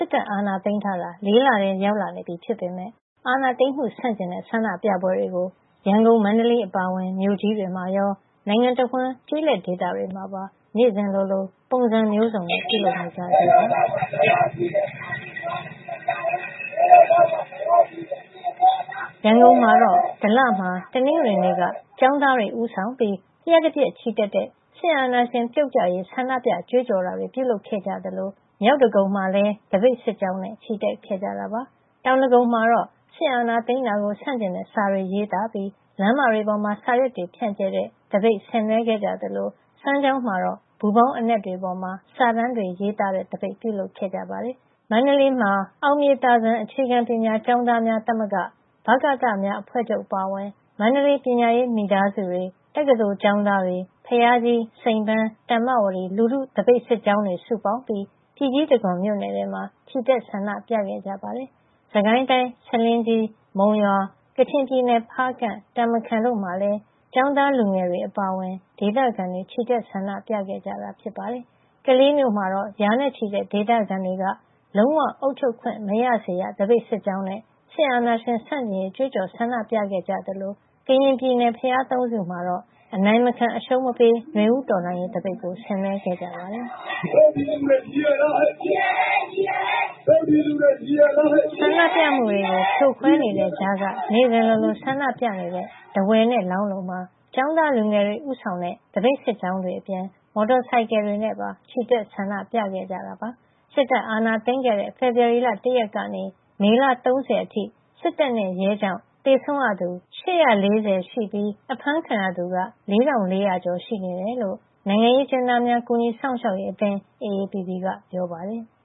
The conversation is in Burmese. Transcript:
စ်တပ်အာဏာသိမ်းထားတာ ၄ လထဲ ရောက်လာနေပြီဖြစ်ပေမယ့် အာဏာသိမ်းမှု ဆန့်ကျင်တဲ့ ဆန္ဒပြပွဲတွေကို ရန်ကုန်၊ မန္တလေး အပါအဝင် မြို့ကြီးတွေမှာရော နိုင်ငံတဝန်း ကျေးလက်ဒေသတွေမှာပါ နေ့စဉ်လိုလို ပုံစံမျိုးစုံနဲ့ ပြုလုပ်နေကြဆဲပါ။ ဒလမှာ တနင်္ဂနွေနေ့က ကျောင်းသားတွေဦးဆောင်ပြီး လျှပ်တပြက် ချီတက်တဲ့ စစ်အာဏာရှင် ပြုတ်ကျရေး ဆန္ဒပြ ကြွေးကြော်တာတွေ ပြုလုပ်ခဲ့ကြသလို မြောက်ဒဂုံမှာလည်း သပိတ်စစ်ကြောင်းနဲ့ ချီတက်ခဲ့ကြတာပါ။ တောင်ဒဂုံမှာတော့ စစ်အာဏာသိမ်းတာကို ဆန့်ကျင်တဲ့စာတွေ ရေးသားပြီး လမ်းမတွေပေါ်မှာ စာရွက်တွေ ဖြန့်ကြဲတဲ့သပိတ် ဆင်နွှဲခဲ့ကြသလို စမ်းချောင်းမှာတော့ ပူဖောင်းအနက်တွေပေါ်မှာ စာတန်းတွေရေးသားတဲ့သပိတ် ပြုလုပ်ခဲ့ကြပါတယ်။ အောင်မြေသာစံ အခြေခံပညာကျောင်းသားများသမဂ္ဂ၊ ဗကသများအဖွဲ့ချုပ် အပါအဝင် မန္တလေး ပညာရေးမိသားစုတွေ၊ တက္ကသိုလ်ကျောင်းသားတွေ၊ ဘုရားကြီး၊ စိန်ပန်း၊ တမ္ပဝတီ လူထုသပိတ်စစ်ကြောင်းတွေ စုပေါင်းပြီး ပြည်ကြီးတံခွန်မြို့နယ်ထဲမှာ ချီတက် ဆန္ဒပြခဲ့ကြပါတယ်။ စစ်ကိုင်းတိုင်း ဆားလင်းကြီး၊ မုံရွာ၊ ကချင်ပြည်နယ် ဖားကန့်၊ တာမခန်တို့မှာလည်း ကျောင်းသားလူငယ်တွေ အပါအဝင် ဒေသခံတွေ ချီတက်ဆန္ဒပြခဲ့ကြတာပါ။ ကလေးမြို့မှာ ရာနဲ့ချီတဲ့ ဒေသခံတွေက လုံးဝ အုပ်ချုပ်ခွင့် မရစေရ သပိတ်စစ်ကြောင်းနဲ့ စစ်အာဏာရှင်ဆန့်ကျင်ရေး ကြွေးကြော် ဆန္ဒပြခဲ့ကြသလို ကရင်ပြည်နယ် ဘုရားသုံးဆူမှာတော့ အနိုင်မခံ အရှုံးမပေး နွေဦးတော်လှန်ရေးသပိတ် ဆင်နွှဲခဲ့ပါတယ်။ နေ့စဉ်လိုလို ဆန္ဒပြနေတဲ့ ထားဝယ်နဲ့ လောင်းလုံမှာ ကျောင်းသားလူငယ်တွေ ဦးဆောင်တဲ့ သပိတ်စစ်ကြောင်းတွေအပြင် မော်တော်ဆိုင်ကယ်တွေနဲ့ပါ ချီတက် ဆန္ဒပြခဲ့ကြတာပါ။ စစ်တပ်အာဏာသိမ်းခဲ့တဲ့ ဖေဖော်ဝါရီလ ၁ ရက်ကနေ မေလ ၃၀ အထိ စစ်တပ်နဲ့ ရဲကြောင့် သေဆုံးရသူ အယောက် ၈၄၀ ရှိပြီး အဖမ်းခံရသူက ၄,၄၀၀ ကျော် ရှိနေတယ်လို့ နိုင်ငံရေးအကျဉ်းသားများ ကူညီစောင့်ရှောက်ရေးအသင်း (AAPP) က ပြောပါတယ်။